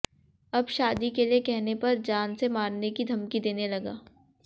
अब शादी के लिए कहने पर जान से मारने की धमकी देने लगा